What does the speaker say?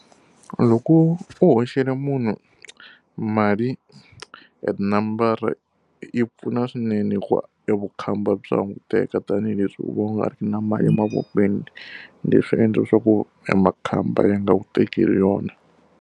Loko u hoxela munhu mali hi tinambara yi pfuna swinene hikuva evukhamba bya languteka tanihileswi u va u nga ri na mali emavokweni, leswi endla leswaku emakhamba ya nga wu tekeli yona.